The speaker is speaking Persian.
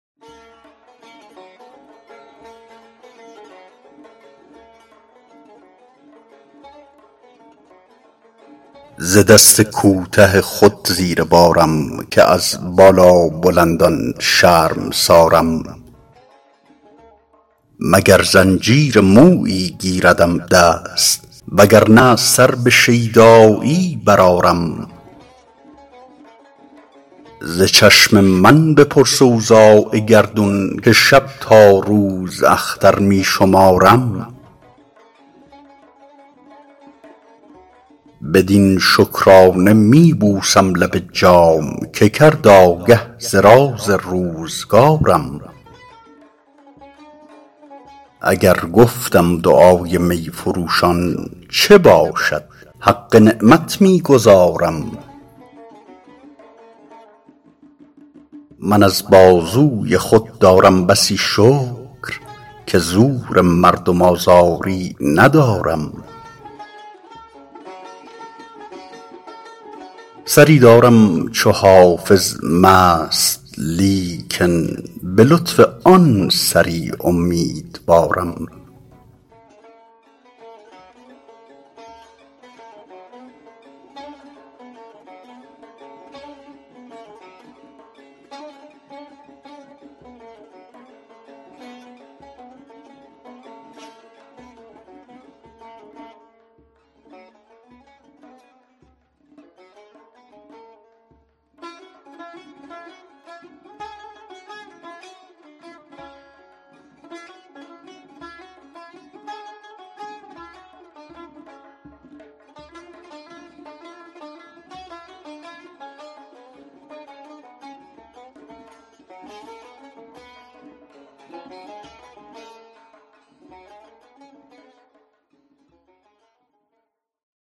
ز دست کوته خود زیر بارم که از بالابلندان شرمسارم مگر زنجیر مویی گیردم دست وگر نه سر به شیدایی برآرم ز چشم من بپرس اوضاع گردون که شب تا روز اختر می شمارم بدین شکرانه می بوسم لب جام که کرد آگه ز راز روزگارم اگر گفتم دعای می فروشان چه باشد حق نعمت می گزارم من از بازوی خود دارم بسی شکر که زور مردم آزاری ندارم سری دارم چو حافظ مست لیکن به لطف آن سری امیدوارم